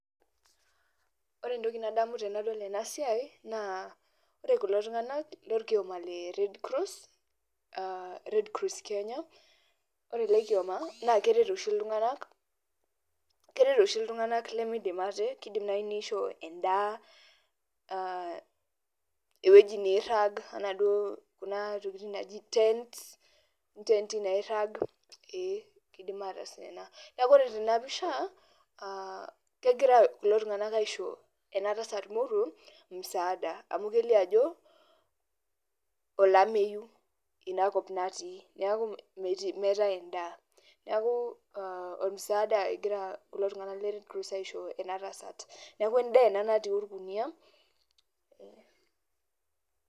Ore entoki nadamu tenadol enasiai, naa ore kulo tung'anak lorkioma le Red Cross, ah Red Cross Kenya, ore ele kioma na keret oshi iltung'anak, keret oshi iltung'anak lemidim ate, kidim nai nisho endaa, ewueji nirrag, enaduo kuna tokiting naji tents, intenti nairrag, ee kidim ataas ina. Neeku ore tenapisha, kegira kulo tung'anak aisho enatasat moruo, musaada. Amu kelio ajo, olameyu inakop natii. Neeku meetae endaa. Neeku ormusaada egira kulo tung'anak le Red Cross aisho enatasat. Neeku endaa ena natii orkuniyia, eh.